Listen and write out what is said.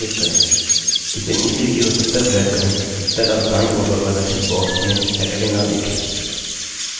इसे नीचे की ओर तब तक drag करें जब तक आप दाईं ओर पर प्रदर्शित box में saturday न देखें